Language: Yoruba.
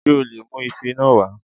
Ṣé o lè mu Ife náà wá